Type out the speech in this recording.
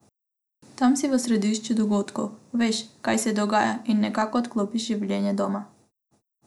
Tam si v središču dogodkov, veš, kaj se dogaja, in nekako odklopiš življenje doma.